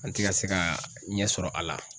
An ti ka se ka ɲɛ sɔrɔ a la.